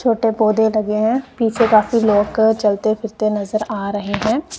छोटे पौधे लगे हैं पीछे काफी लोग कर चलते-फिरते नजर आ रहे हैं।